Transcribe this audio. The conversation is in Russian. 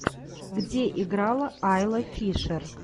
где играла айла фишер